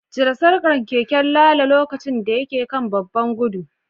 Cire sarkar keken Lalo lokacin da yake kan babban gudu